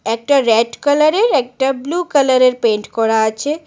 একটা red colour -এর একটা ব্লু কালার -এর পেইন্ট করা আছে।